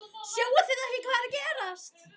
Sjáið þið ekki hvað er að gerast!